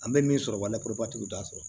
An bɛ min sɔrɔ wale kɔrɔbatigiw t'a sɔrɔ